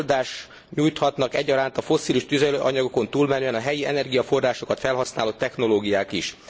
Megoldást nyújthatnak egyaránt a fosszilis tüzelőanyagokon túlmenően a helyi energiaforrásokat felhasználó technológiák is.